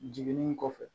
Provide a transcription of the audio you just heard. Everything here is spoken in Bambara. Jiginni kɔfɛ